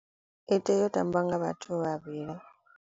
I tea u tambiwa nga vhathu vhavhili.